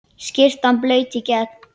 Skyrtan blaut í gegn.